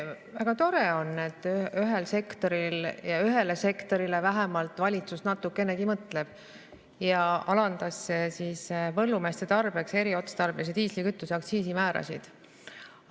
Väga tore on, et vähemalt ühele sektorile valitsus natukenegi mõtleb, alandades põllumeeste tarbeks eriotstarbelise diislikütuse aktsiisimäärasid.